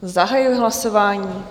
Zahajuji hlasování.